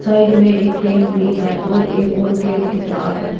Side में एक पेड़ भी है और एक और गेट दिख रहा है।